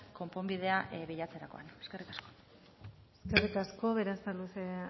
konponbidea bilatzerakoan eskerrik asko eskerrik asko berasaluze